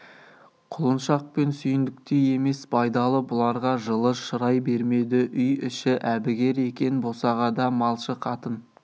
құлыншақ пен сүйіндіктей емес байдалы бұларға жылы шырай бермеді үй іші әбігер екен босағада малшы қатын